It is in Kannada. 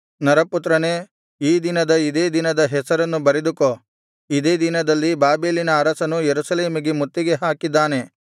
ನರಪುತ್ರನೇ ಈ ದಿನದ ಇದೇ ದಿನದ ಹೆಸರನ್ನು ಬರೆದುಕೋ ಇದೇ ದಿನದಲ್ಲಿ ಬಾಬೆಲಿನ ಅರಸನು ಯೆರೂಸಲೇಮಿಗೆ ಮುತ್ತಿಗೆ ಹಾಕಿದ್ದಾನೆ